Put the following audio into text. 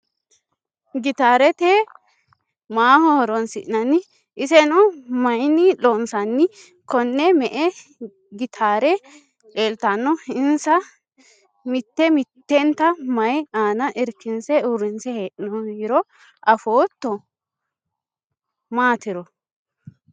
Gitaare maaho horonsi'nanni? Iseno mayiinni loonsanni? Konne me"e gitaare leeltanno? Insa mitte mittenta mayii aana irkinse uurrinse hee'noyiro afootto maatiro?